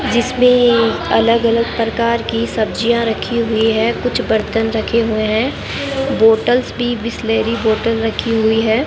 जिसमें अलग अलग प्रकार की सब्जियां रखी हुई है कुछ बर्तन रखे हुए हैं बॉटल्स भी बिसलेरी बॉटल रखी हुई है।